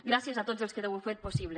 gràcies a tots els que ho heu fet possible